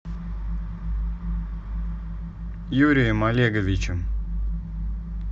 юрием олеговичем